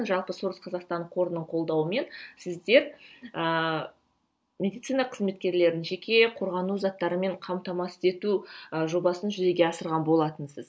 жалпы сорос қазақстан қорының қолдауымен сіздер ыыы медицина қызметкерлерін жеке қорғану заттарымен қамтамасыз ету ы жобасын жүзеге асырған болатынсыз